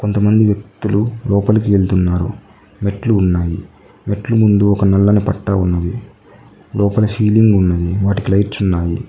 కొంతమంది వ్యక్తులు లోపలికి ఎళ్తున్నారు మెట్లు ఉన్నాయి మెట్లు ముందు ఒక నల్లని పట్టా ఉన్నది లోపల షీలింగ్ ఉన్నది వాటికి లైట్స్ ఉన్నాయి.